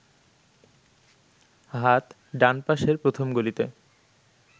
হাত ডান পাশের প্রথম গলিতে